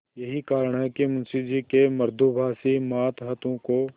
यही कारण है कि मुंशी जी के मृदुभाषी मातहतों को